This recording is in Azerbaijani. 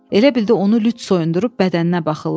Elə bildi onu lüt soyundurub bədəninə baxırlar.